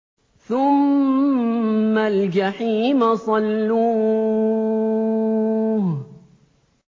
ثُمَّ الْجَحِيمَ صَلُّوهُ